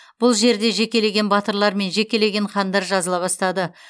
бұл жерде жекелеген батырлар мен жекелеген хандар жазыла бастады